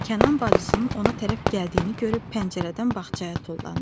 Kənan bacısının ona tərəf gəldiyini görüb pəncərədən bağçaya tullandı.